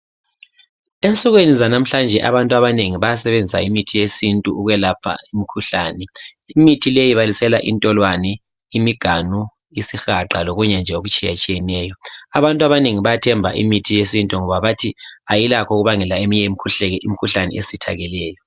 Ensukwini zanamuhlanje abantu abanengi bayasebenzisa imithi yesintu ukulapha imikhuhlane imithi leyi ibalisela intolwane, imiganu, isihaqa lokunye nje okutshiyeneyo abantu abanengi bayathemba imithi yesintu ngoba ayilakho ukubabangela eminye imikhuhlane esithakeleyo.